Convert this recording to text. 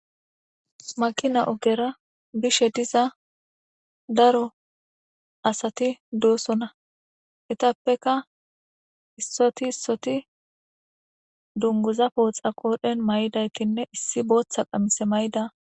makina ogera bishe diza daro asati dosona etappeka issoti issoti dunguza pooxa qoodhen may7idaytinne issi booththa qamise may'ida